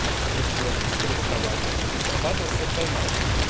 и если он быстрее срабатывает либо срабатывался тайм аут